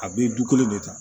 A bɛ du kelen de ta